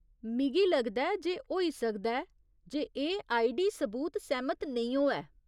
मिगी लगदा ऐ जे होई सकदा ऐ जे एह् आईडी सबूत सैह्‌मत नेईं होऐ।